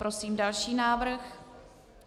Prosím další návrh.